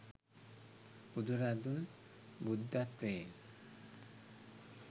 බුදුරදුන් බුද්ධත්වයෙන්